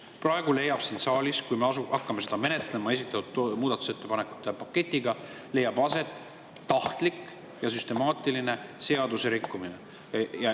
Praegu leiab siin saalis aset, kui me hakkame seda eelnõu sellise muudatusettepanekute paketiga menetlema, tahtlik ja süstemaatiline seaduserikkumine.